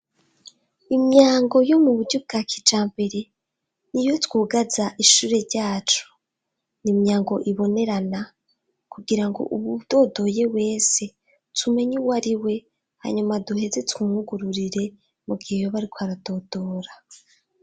Imyango yo mu buryo bwa kija mbere ni iye twugaza ishure ryacu ni imyango ibonerana kugira ngo, ubu ubwodoye wese tumenye uwe ari we hanyuma duheze tweumwugururire mu gihe yobe, ariko aradodora.